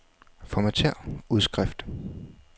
Formatér udskrift.